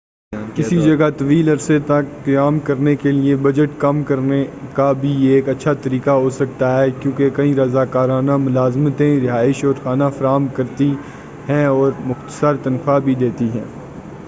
کسی جگہ طویل عرصے تک قیام کرنے کیلئے بجٹ کم کرنے کا بھی یہ ایک اچّھا طریقہ ہو سکتا ہے کیونکہ کئی رضاکارانہ ملازمتیں رہائش اور کھانا فراہم کرتی ہیں اور چند مختصر تنخواہ بھی دیتی ہیں